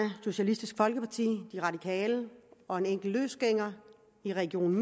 socialistisk folkeparti de radikale og en enkelt løsgænger i region